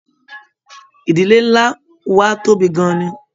Ìdílé nlá wà tóbi gán-an ní.